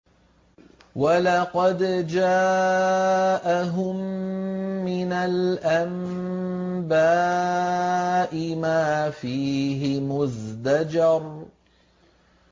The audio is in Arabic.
وَلَقَدْ جَاءَهُم مِّنَ الْأَنبَاءِ مَا فِيهِ مُزْدَجَرٌ